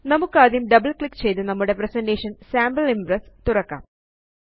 നമുക്കാദ്യം double click ചെയ്ത് നമ്മുടെ പ്രസന്റേഷൻ സാംപിൾ ഇംപ്രസ് തുറക്കാം